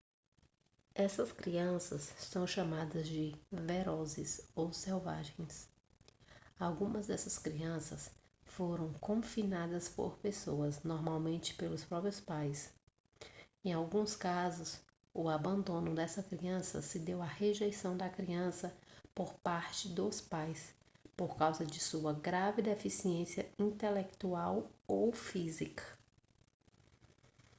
essas crianças são chamadas de ferozes ou selvagens. algumas dessas crianças foram confinadas por pessoas normalmente pelos próprios pais; em alguns casos o abandono dessa criança se deu à rejeição da criança por partes dos pais por causa de sua grave deficiência intelectual ou física